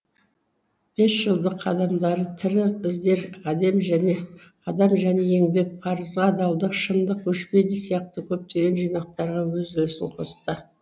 бесжылдық қадамдары тірі іздер адам және еңбек парызға адалдық шындық өшпейді сияқты көптеген жинақтарға өз үлесін қосты